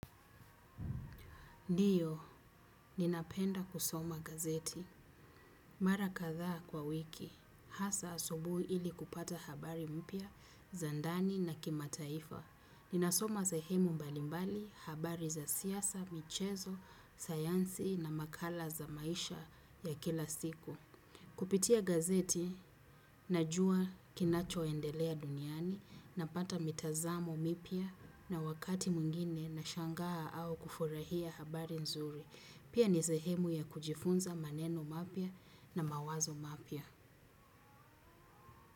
Ndiyo, ninapenda kusoma gazeti. Mara katha kwa wiki. Hasa asubui ili kupata habari mpya za ndani na kimataifa ninasoma sehemu mbalimbali habari za siasa, michezo, sayansi na makala za maisha ya kila siku. Kupitia gazeti, najua kinachoendelea duniani, napata mitazamo mpya na wakati mwingine na shangaa au kufurahia habari nzuri. Pia ni sehemu ya kujifunza maneno mapya na mawazo mapya.